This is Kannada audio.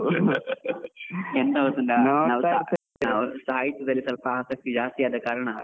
ಎಂತ ಗೊತ್ತುಂಟಾ ಸಾಹಿತ್ಯದಲ್ಲಿ ಸ್ವಲ್ಪ ಆಸಕ್ತಿ ಜಾಸ್ತಿ ಆದ ಕಾರಣ.